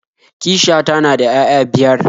Kishiyata na da 'ya'ya biyar